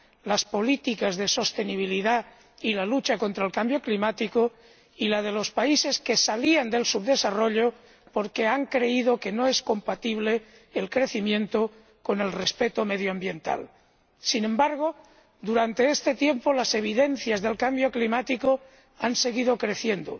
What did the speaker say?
las políticas de sostenibilidad y la lucha contra el cambio climático, y el de los países que salían del subdesarrollo, porque han creído que no es compatible el crecimiento con el respeto medioambiental. Sin embargo, durante este tiempo las evidencias del cambio climático han seguido creciendo.